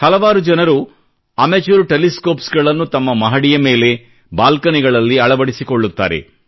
ಹಲವಾರು ಜನರು amateur telescopes ನ್ನು ತಮ್ಮ ಮಹಡಿಯ ಮೇಲೆ ಬಾಲ್ಕನಿಗಳಲ್ಲಿ ಅಳವಡಿಸಿಕೊಳ್ಳುತ್ತಾರೆ